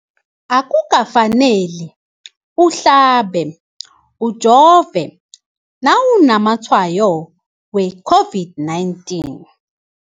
Akuka faneli uhlabe, ujove nawu namatshayo we-COVID-19.